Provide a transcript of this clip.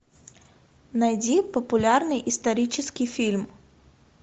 найди популярный исторический фильм